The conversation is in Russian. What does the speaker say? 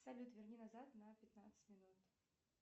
салют верни назад на пятнадцать минут